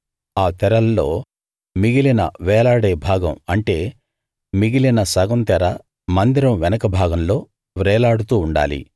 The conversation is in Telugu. ఆ తెరల్లో మిగిలిన వేలాడే భాగం అంటే మిగిలిన సగం తెర మందిరం వెనక భాగంలో వ్రేలాడుతూ ఉండాలి